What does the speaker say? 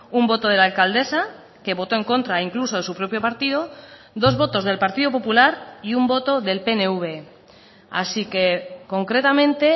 un voto de la alcaldesa que votó en contra incluso de su propio partido dos votos del partido popular y un voto del pnv así que concretamente